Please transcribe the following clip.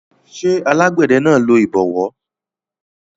ṣé alágbẹ̀dẹ náà lo ìbọwọ́